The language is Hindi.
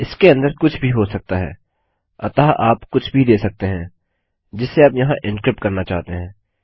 इसके अंदर कुछ भी हो सकता है अतः आप कुछ भी दे सकते हैं जिसे आप यहाँ एन्क्रिप्ट करना चाहते हैं